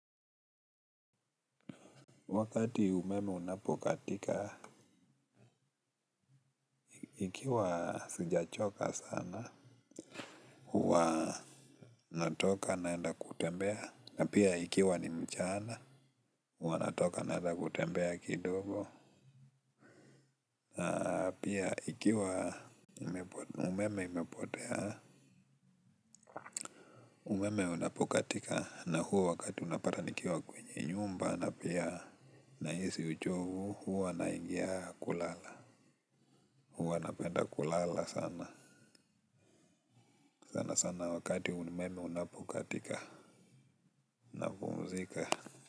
Wakati umeme unapokatika, ikiwa sijachoka sana, huwa natoka naenda kutembea. Na pia ikiwa ni mchana, huwa natoka naenda kutembea kidogo. Pia ikiwa umeme imepotea umeme unapokatika na huo wakati unapata nikiwa kwa nyumba na pia nahisi uchovu na huwa naingia kulala huwa napenda kulala sana. Sana sana wakati umeme unapokatika napumzika.